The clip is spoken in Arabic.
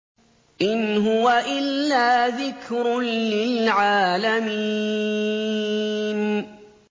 إِنْ هُوَ إِلَّا ذِكْرٌ لِّلْعَالَمِينَ